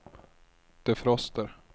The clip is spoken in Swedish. defroster